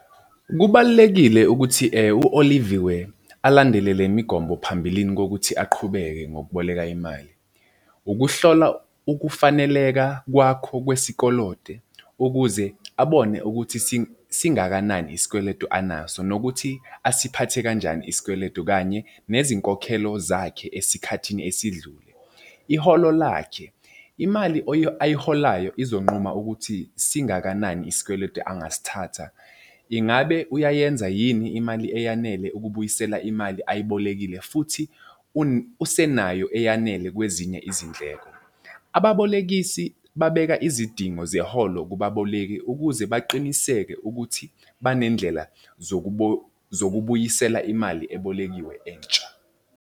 Kubalulekile ukuthi u-Oliviwe alandele le migomo phambilini kokuthi aqhubeke ngokuboleka imali. Ukuhlola ukufaneleka kwakho kwesikoloto ukuze abone ukuthi singakanani isikweletu anaso, nokuthi asiphathe kanjani isikweletu kanye nezinkokhelo zakhe esikhathini esidlule. Iholo lakhe, imali ayiholayo izonquma ukuthi singakanani isikweletu angasithatha. Ingabe uyayenza yini imali eyanele ukubuyisela imali ayibolekile futhi usenayo eyanele kwezinye izindleko? Ababolekisi babeka izidingo zeholo kubaboleki ukuze baqiniseke ukuthi banendlela zokubuyisela imali ebolekiwe entsha.